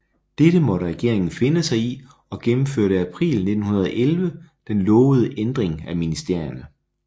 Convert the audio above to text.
Dette måtte regeringen finde sig i og gennemførte april 1911 den lovede Ændring af Ministerierne